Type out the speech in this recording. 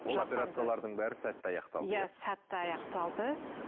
ол операциялардың бәрі сәтті аяқталды иә сәтті аяқталды